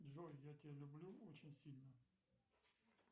джой я тебя люблю очень сильно